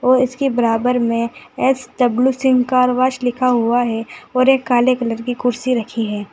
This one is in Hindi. और इसके बराबर में एस_डब्लू सिंह कार वॉश लिखा हुआ है और एक काले कलर की कुर्सी रखी है।